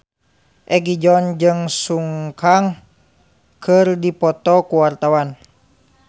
Egi John jeung Sun Kang keur dipoto ku wartawan